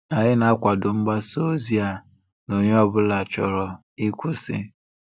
Anyị na-akwado mgbasa ozi a na onye ọbụla chọrọ ịkwụsị.